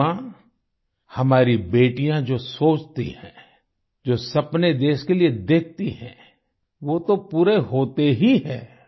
रिद्धिमा हमारी बेटियाँ जो सोचती हैं जो सपने देश के लिए देखती हैं वो तो पूरे होते ही है